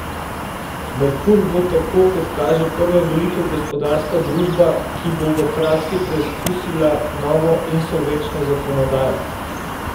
Merkur bo tako kot kaže prva velika gospodarska družba, ki bo v praksi preizkusila novo insolvenčno zakonodajo.